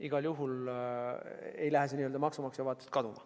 Igal juhul maksumaksja vaatest lähtudes ei lähe see kaduma.